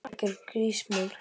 Algjör grís, mann!